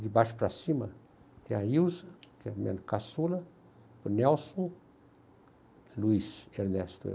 De baixo para cima, tem a Ilza, que é a minha caçula, o Nelson, Luiz, Ernesto eu.